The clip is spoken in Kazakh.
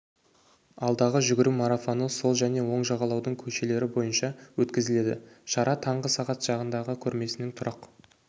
алдағы жүгіру марафоны сол және оң жағалаудың көшелері бойынша өткізіледі шара таңғы сағат жағындағы көрмесінің тұрақ